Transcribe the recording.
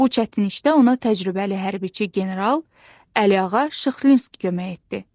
Bu çətin işdə ona təcrübəli hərbiçi general Əliağa Şıxlinski kömək etdi.